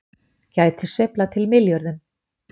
Geta sveiflað til milljörðum